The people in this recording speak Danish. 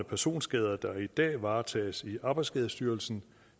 personskader der i dag varetages i arbejdsskadestyrelsen